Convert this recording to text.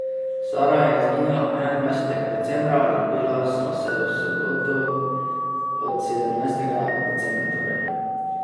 Sara je izginila enaindvajsetega decembra, ljubila sva se v soboto, od sedemnajstega decembra torej.